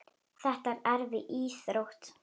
Þetta er erfið íþrótt.